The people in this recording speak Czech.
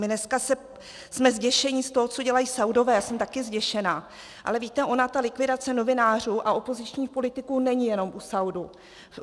My dneska jsme zděšeni z toho, co dělají Saúdové, já jsem taky zděšená, ale víte, ona ta likvidace novinářů a opozičních politiků není jenom u Saúdů.